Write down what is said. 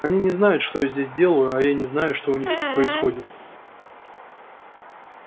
они не знают что я здесь делаю а я не знаю что у них тут происходит